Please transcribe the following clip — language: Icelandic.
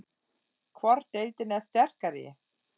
Hvor deildin er sterkari?